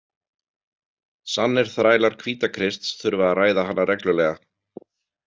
Sannir þrælar Hvítakrists þurfa að ræða hana reglulega.